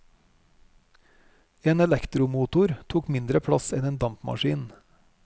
En elektromotor tok mindre plass enn en dampmaskin.